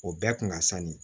O bɛɛ kun ka sanni